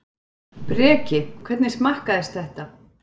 Breki: Hvernig smakkaðist þetta?